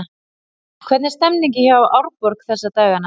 Hvernig er stemningin hjá Árborg þessa dagana?